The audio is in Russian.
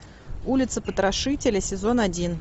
улица потрошителя сезон один